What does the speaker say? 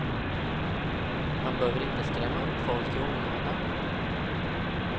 Man behöver inte skrämma upp folk i onödan.